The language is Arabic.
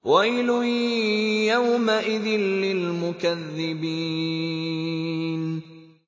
وَيْلٌ يَوْمَئِذٍ لِّلْمُكَذِّبِينَ